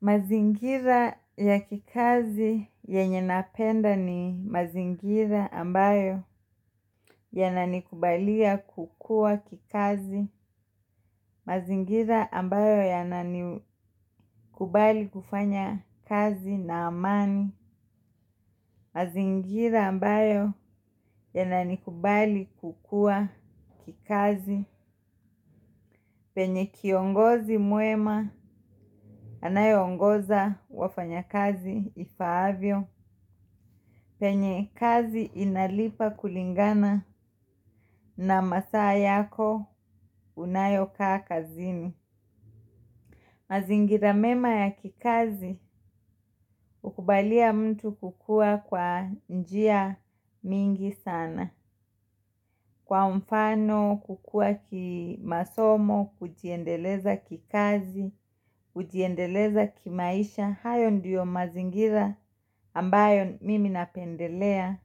Mazingira ya kikazi yenye napenda ni mazingira ambayo yananikubalia kukua kikazi. Mazingira ambayo yanani kubali kufanya kazi na amani. Mazingira ambayo yanani kubali kukua kikazi. Penye kiongozi mwema, anayeongoza wafanyakazi ifaavyo. Penye kazi inalipa kulingana na masaa yako unayokaa kazini. Mazingira mema ya kikazi hukubalia mtu kukua kwa njia mingi sana. Kwa mfano, kukua kimasomo, kujiendeleza kikazi, kujiendeleza kimaisha. Hayo ndiyo mazingira ambayo mimi napendelea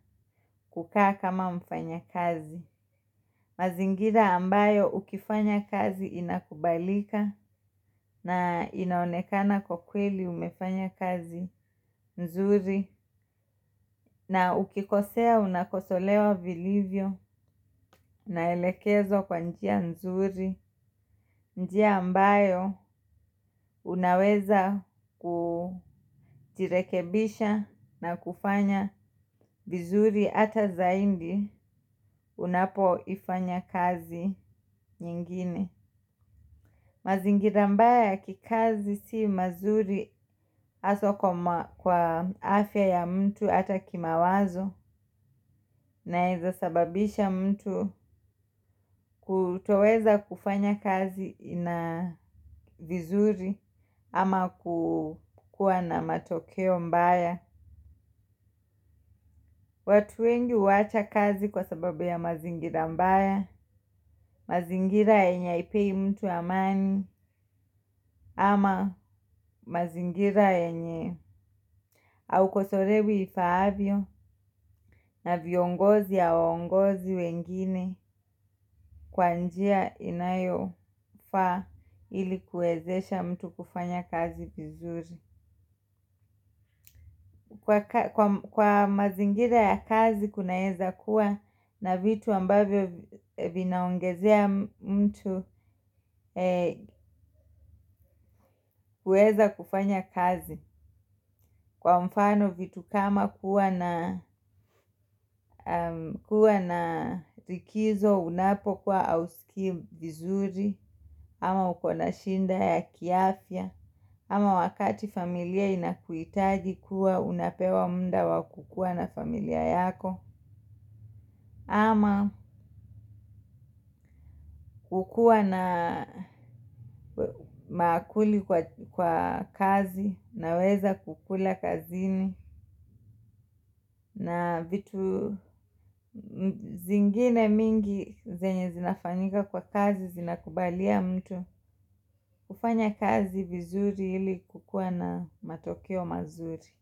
kukaa kama mfanyakazi. Mazingira ambayo ukifanya kazi inakubalika na inaonekana kwa kweli umefanya kazi nzuri na ukikosea unakosolewa vilivyo naelekezwa kwa njia nzuri njia ambayo unaweza kujirekebisha na kufanya vizuri hata zaindi unapoifanya kazi nyingine. Mazingira mbaya ya kikazi si mazuri haswa kwa afya ya mtu hata kimawazo inaeza sababisha mtu kutoweza kufanya kazi ina vizuri ama kukua na matokeo mbaya. Watu wengi huacha kazi kwa sababu ya mazingira mbaya, mazingira yenye haipei mtu amani ama mazingira yenye aukosorewi ifaavyo na viongozi hawaongozi wengine kwa njia inayofaa ili kuwezesha mtu kufanya kazi vizuri. Kwa mazingira ya kazi kunaeza kuwa na vitu ambavyo vinaongezea mtu kueza kufanya kazi. Kwa mfano vitu kama kuwa na rikizo unapokuwa hausikii vizuri ama uko na shida ya kiafya. Ama wakati familia inakuhitaji huwa unapewa muda wa kukuwa na familia yako. Ama kukuwa na maakuli kwa kazi naweza kukula kazini na vitu zingine mingi zenye zinafanyika kwa kazi zinakubalia mtu kufanya kazi vizuri ili kukuwa na matokeo mazuri.